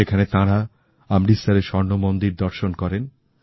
সেখানে তাঁরা অমৃতসরের স্বর্ণমন্দির দর্শন করেন